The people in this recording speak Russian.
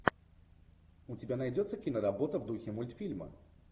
у тебя найдется киноработа в духе мультфильма